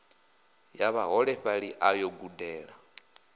ya vhaholefhali a yo gudela